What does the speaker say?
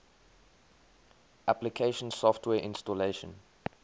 application software installation